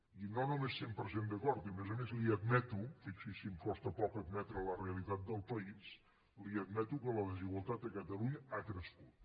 i no només cent per cent d’acord i a més a més li admeto fixi’s si em costa poc admetre la realitat del país que la desigualtat a catalunya ha crescut